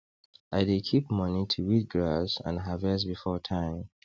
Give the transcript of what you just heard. i dey keep money to weed grass and harvest before time